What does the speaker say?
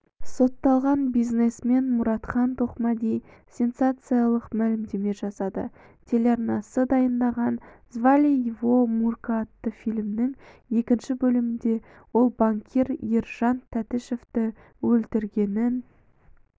сотталған бизнесмен мұратхан тоқмәди сенсациялық мәлімдеме жасады телеарнасы дайындаған звали его мурка атты фильмнің екінші бөлімінде ол банкир ержан тәтішевті өлтіргенін